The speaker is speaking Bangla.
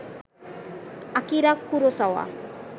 Akira Kurosawa